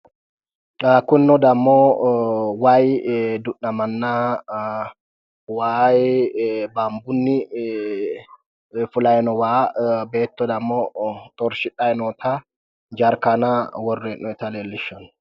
kunino dammo wayii du'namanna waayi baanbunni fulayi no waa beetto dammo xorshshidhayi noota jarkaana worre hee'noyiita leellishshanno.